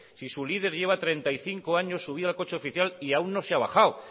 si su líder lleva treinta y cinco años subido al coche oficial y aún no se ha bajado